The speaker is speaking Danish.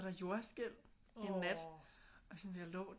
Der jordskælv en nat og sådan jeg lå